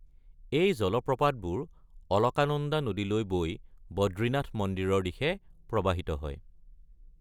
এই জলপ্ৰপাতবোৰ অলকানন্দা নদীলৈ বৈ বদ্ৰীনাথ মন্দিৰৰ দিশে প্ৰৱাহিত হয়।